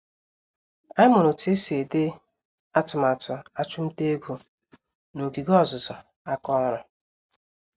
Anyị mụrụ otú esi ede atụmatụ achumtaego, n'ogige ọzụzụ àkà ọrụ